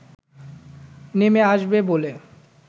নেমে আসবে বলে